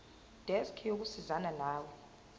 desk yokusizana nawe